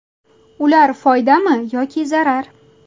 Ular foydami yoki zarar?